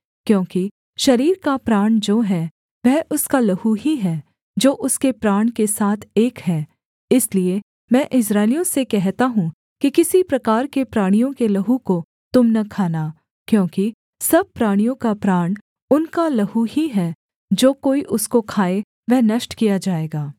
क्योंकि शरीर का प्राण जो है वह उसका लहू ही है जो उसके प्राण के साथ एक है इसलिए मैं इस्राएलियों से कहता हूँ कि किसी प्रकार के प्राणी के लहू को तुम न खाना क्योंकि सब प्राणियों का प्राण उनका लहू ही है जो कोई उसको खाए वह नष्ट किया जाएगा